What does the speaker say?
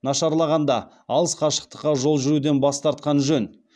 нашарлағанда алыс қашықтыққа жол жүруден бас тартқан жөн